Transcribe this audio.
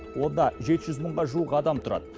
онда жеті жүз мыңға жуық адам тұрады